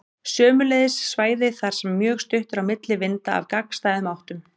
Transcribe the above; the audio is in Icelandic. Sömuleiðis svæði þar sem mjög stutt er á milli vinda af gagnstæðum áttum.